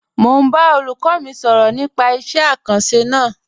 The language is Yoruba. Mọ̀ n bá olúkọ́ mi sọrọ̀ nípà ìṣẹ̀ àkànsí náà.